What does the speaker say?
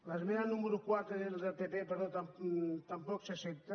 l’esmena número quatre era del pp però tampoc s’accepta